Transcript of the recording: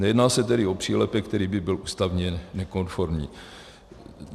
Nejedná se tedy o přílepek, který by byl ústavně nekonformní.